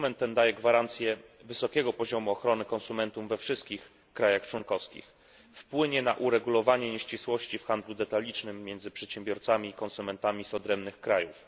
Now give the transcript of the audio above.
Dokument ten daje gwarancję wysokiego poziomu ochrony konsumentów we wszystkich państwach członkowskich, wpłynie na uregulowanie nieścisłości w handlu detalicznym między przedsiębiorcami i konsumentami z odrębnych krajów.